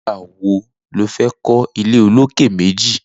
Nigbà wó ló fè kọ ilé ólóké méji yèn